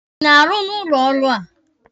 Ị na-arụ n'ụlọ ọrụ a?